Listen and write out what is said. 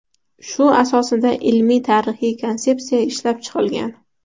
Shu asosida ilmiy-tarixiy konsepsiya ishlab chiqilgan.